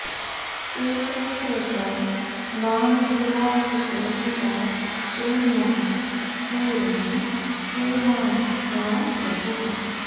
एकः पृथङ् नामभिराहुतो मुदा गृह्णाति पूर्णः स्वयमाशिषां प्रभुः